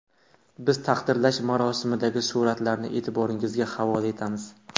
Biz taqdirlash marosimidagi suratlarni e’tiboringizga havola etamiz.